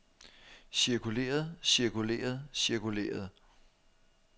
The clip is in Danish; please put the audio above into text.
cirkuleret cirkuleret cirkuleret